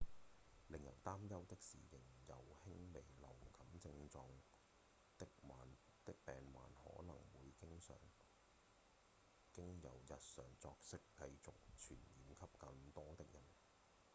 令人擔憂的是仍有輕微流感症狀的病患可能會經由日常作息繼續傳染給更多的人